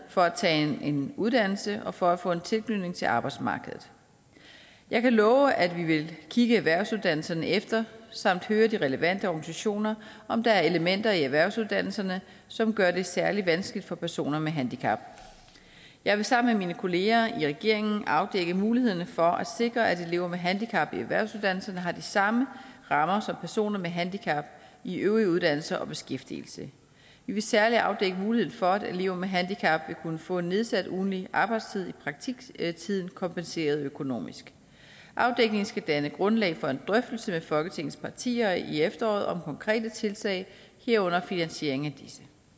for at tage en uddannelse og for at få en tilknytning til arbejdsmarkedet jeg kan love at vi vil kigge erhvervsuddannelserne efter samt høre de relevante organisationer om der er elementer i erhvervsuddannelserne som gør det særlig vanskeligt for personer med handicap jeg vil sammen med mine kolleger i regeringen afdække mulighederne for at sikre at elever med handicap i erhvervsuddannelserne har de samme rammer som personer med handicap i øvrige uddannelser og beskæftigelse vi vil særlig afdække muligheden for at elever med handicap vil kunne få en nedsat ugentlig arbejdstid i praktiktiden kompenseret økonomisk afdækningen skal danne grundlag for en drøftelse med folketingets partier i efteråret om konkrete tiltag herunder finansieringen af disse